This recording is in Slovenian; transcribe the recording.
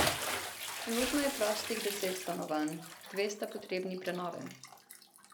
Trenutno je prostih deset stanovanj, dve sta potrebni prenove.